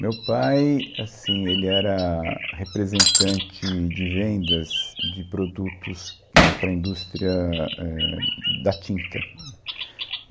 Meu pai assim, ele era representante de vendas de produtos eh para a indústria eh da tinta. Hum.